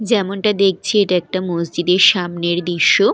যেমনটা দেখছি এটা একটা মসজিদের সামনের দৃশ্য।